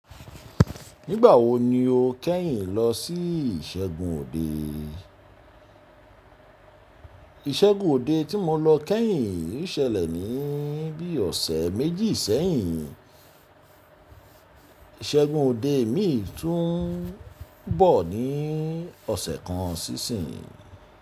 Nígbà wo ni o kẹ́yìn lọ sí ìsẹ́gun òde? Ìsẹ́gun òde tí mo lọ kẹ́yìn yí ṣẹlẹ̀ ní bí i ọ̀sẹ̀ méjì sẹ́yìn. Ìsẹ́gun òde mi tún bọ̀ ní ọ̀sẹ̀ kan sísinyi.